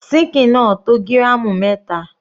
Síkìn náà tó gíràmù mẹta.